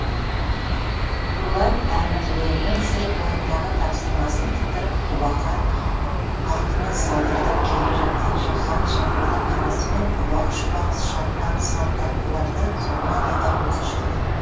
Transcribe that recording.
дулат әмірлерінің сыр бойындағы тапсырмасын тындырып құбақан атымен салдыртып келе жатқан жаһан жыңғылдың арасымен ұбақ шұбақ шапқан салт аттыларды сонадайдан көзі шалды